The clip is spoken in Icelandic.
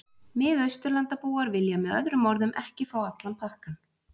Mið-Austurlandabúar vilja með öðrum orðum ekki fá allan pakkann.